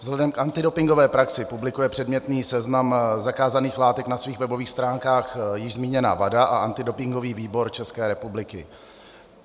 Vzhledem k antidopingové praxi publikuje předmětný seznam zakázaných látek na svých webových stránkách již zmíněná WADA a antidopingový výbor České republiky.